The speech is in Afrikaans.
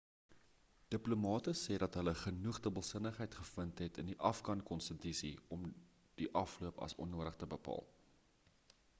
diplomate sê dat hulle genoeg dubbelsinnigheid gevind het in die afghan konstitusie om die afloop as onnodig te bepaal